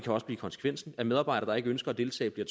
også blive konsekvensen at medarbejdere der ikke ønsker at deltage kan